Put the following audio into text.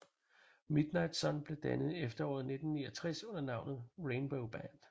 Midnight Sun blev dannet i efteråret 1969 under navnet Rainbow Band